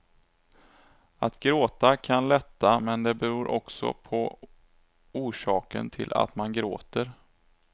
Att gråta kan lätta, men det beror också på orsaken till att man gråter.